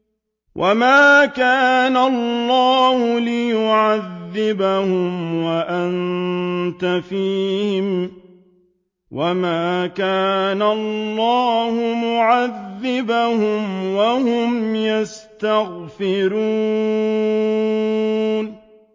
وَمَا كَانَ اللَّهُ لِيُعَذِّبَهُمْ وَأَنتَ فِيهِمْ ۚ وَمَا كَانَ اللَّهُ مُعَذِّبَهُمْ وَهُمْ يَسْتَغْفِرُونَ